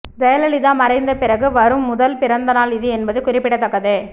ஜெயலலிதா மறைந்த பிறகு வரும் முதல் பிறந்தநாள் இது என்பது குறிப்பிடத்தக்கது